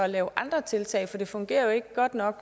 lave andre tiltag for det fungerer jo ikke godt nok